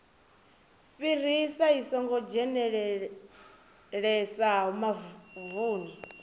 fhirisa i songo dzhenelelesaho mavuni